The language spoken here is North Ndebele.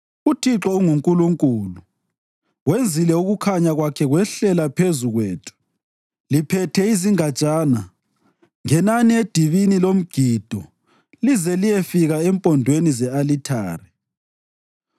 UThixo unguNkulunkulu, wenzile ukukhanya kwakhe kwehlela phezu kwethu. Liphethe izingatshana, ngenani edibini lomgido lize liyefika empondweni ze-alithare.